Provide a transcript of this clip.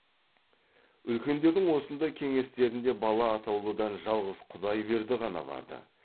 үлкендердің осындай кеңестерінде бала атаулыдан жалғыз құдайберді ғана бар ды